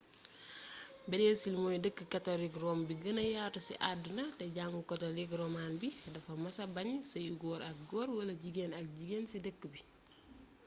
breesil mooy dëkk katolik rom bu gëna yatu ci àdduna te jàngu katlik roman bi dafa mësa bañ seyu góor ak góor wala jigeen ak jigeen ci dëkk bi